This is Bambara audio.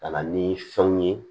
Ka na ni fɛnw ye